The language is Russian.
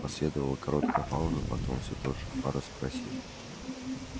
последовала короткая пауза потом все тот же фара спросил